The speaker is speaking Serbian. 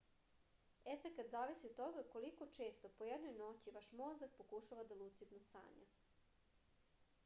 efekat zavisi od toga koliko često po jednoj noći vaš mozak pokušava da lucidno sanja